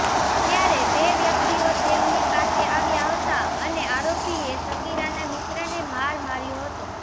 ત્યારે બે વ્યક્તિઓ તેમની પાસે આવ્યા હતા અને આરોપીએ સગીરાના મિત્રને માર માર્યો હતો